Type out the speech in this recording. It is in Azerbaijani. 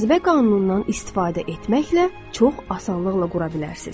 Cazibə qanunundan istifadə etməklə çox asanlıqla qura bilərsiz.